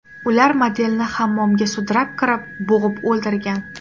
Ular modelni hammomga sudrab kirib, bo‘g‘ib o‘ldirgan.